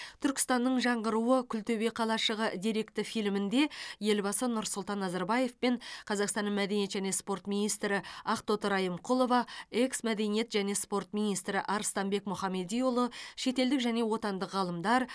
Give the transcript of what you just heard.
түркістанның жаңғыруы күлтөбе қалашығы деректі фильмінде елбасы нұрсұлтан назарбаевпен қазақстан мәдениет және спорт министрі ақтоты райымқұлова экс мәдениет және спорт министрі арыстанбек мұхамедиұлы шетелдік және отандық ғалымдар